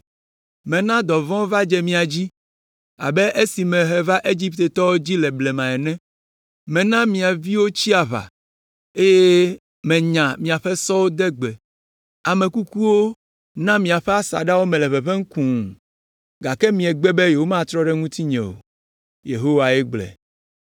“Mena dɔvɔ̃wo va dze mia dzi abe esiwo mehe va Egiptetɔwo dzi le blema ene. Mena mia viwo tsi aʋa, eye menya miaƒe sɔwo de gbe. Ame kukuwo na miaƒe asaɖa me le ʋeʋẽm kũu, gake miegbe, mietrɔ ɖe ŋutinye o.” Yehowae gblɔe.